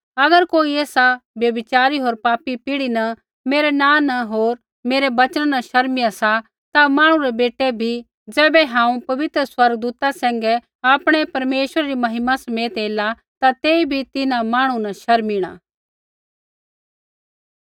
अगर कोई एसा व्यभिचारी होर पापी पीढ़ी न मेरै नाँ न होर मेरै वचना न शर्मिया सा ता मांहणु रै बेटै बी ज़ैबै हांऊँ पवित्र स्वर्गदूता सैंघै आपणै परमेश्वरै री महिमा समेत एला ता तेई बी तिन्हां मांहणु न शर्मिणा